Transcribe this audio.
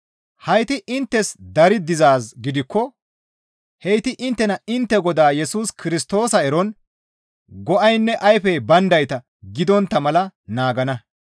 Hayti inttes dari dizaaz gidikko heyti inttena intte Godaa Yesus Kirstoosa eron go7aynne ayfey bayndayta gidontta mala naagana.